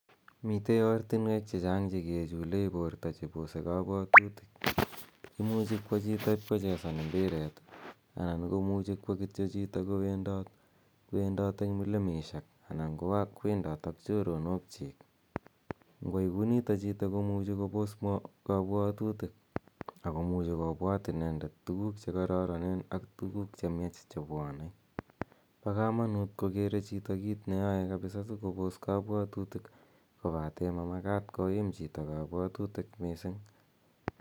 Mitei ortinweek che chang' che ke chulei porto che keposs kapwatutik. Imuchi kowa chito ipkochesan mpiret i anan imuchi kowa chito kityo ipkowendat eng' milimeshek ana kowendat ak choronok chiik. Ngo yai kou nitok chito komuchi kopos kapwatitik ako muchi kopwat inendet tuguuk che kararanen ak tuguuk chemiach chepwonei. Pa kamanuut kokere chito kiit neyai kapisa si kopos kapwatitik kopate ma makat koim chito kapwatutik missing'